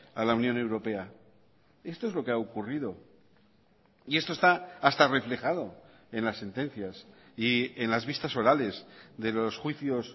a la unión europea esto es lo que ha ocurrido y esto está hasta reflejado en las sentencias y en las vistas orales de los juicios